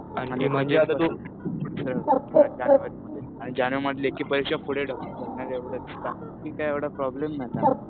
जानेवारीमध्ये. आणि जानेवारीमधली परीक्षा पुढे ढकलली एवढंच. बाकी काय एवढं प्रॉब्लेम नाही त्यामध्ये.